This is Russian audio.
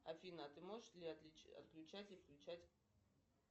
афина а ты можешь отключать и включать